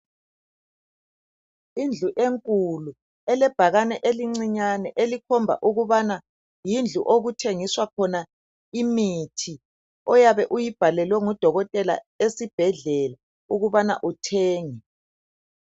Indlu enkulu elebhakane elincinyane elikhomba ukubana ndindlu okuthengiswa khona imithi oyabe uyibhalelwe ngudokotela esibhedlela ukubana uthenge.